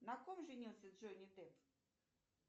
на ком женился джонни депп